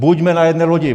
Buďme na jedné lodi.